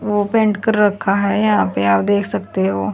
open कर रखा है यहां पे आप देख सकते हो--